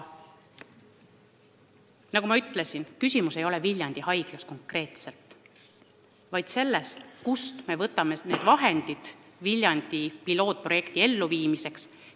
Nagu ma ütlesin, küsimus ei ole Viljandi haiglas konkreetselt, vaid selles, kust me võtame raha Viljandi pilootprojekti eluviimiseks.